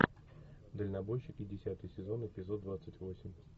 дальнобойщики десятый сезон эпизод двадцать восемь